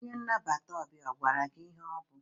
Onye nnabata ọbịa ọ gwara gị ihe ọ bụ?